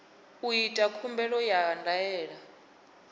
u ita khumbelo ya ndaela